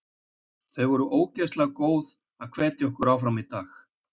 Þau voru ógeðslega góð að hvetja okkur áfram í dag.